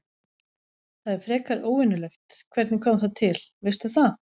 Það er frekar óvenjulegt, hvernig kom það til, veistu það?